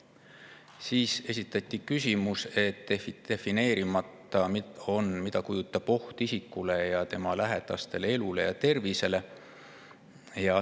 Siis esitati küsimus selle kohta, et on defineerimata, mida kujutab endast oht isikule ja tema lähedaste elule ja tervisele.